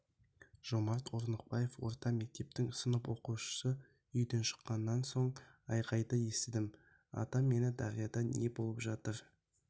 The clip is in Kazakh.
жомарт орнықбаев орта мектептің сынып оқушысы үйден шыққан соң айқайды естідім атам мені дарияда не болып